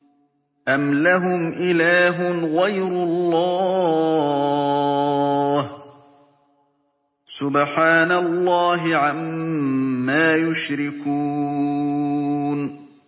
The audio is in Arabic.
أَمْ لَهُمْ إِلَٰهٌ غَيْرُ اللَّهِ ۚ سُبْحَانَ اللَّهِ عَمَّا يُشْرِكُونَ